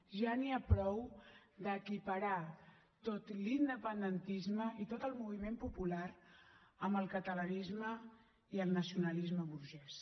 ja n’hi ha prou d’equiparar tot l’independentisme i tot el moviment popular amb el catalanisme i el nacionalisme burgès